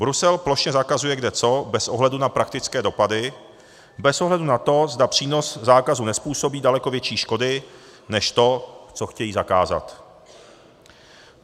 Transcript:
Brusel plošně zakazuje kdeco bez ohledu na praktické dopady, bez ohledu na to, zda přínos zákazu nezpůsobí daleko větší škody než to, co chtějí zakázat.